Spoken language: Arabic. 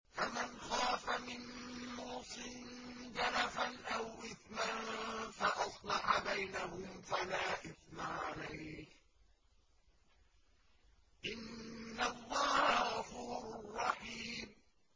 فَمَنْ خَافَ مِن مُّوصٍ جَنَفًا أَوْ إِثْمًا فَأَصْلَحَ بَيْنَهُمْ فَلَا إِثْمَ عَلَيْهِ ۚ إِنَّ اللَّهَ غَفُورٌ رَّحِيمٌ